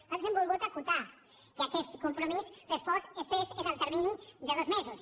nosaltres hem volgut acotar que aquest compromís es fes en el termini de dos mesos